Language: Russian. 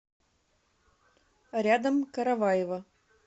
рядом караваево